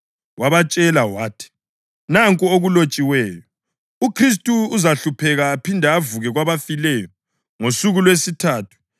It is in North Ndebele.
Wabatshela wathi, “Nanku okulotshiweyo: UKhristu uzahlupheka aphinde avuke kwabafileyo ngosuku lwesithathu,